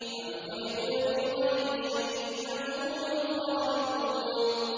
أَمْ خُلِقُوا مِنْ غَيْرِ شَيْءٍ أَمْ هُمُ الْخَالِقُونَ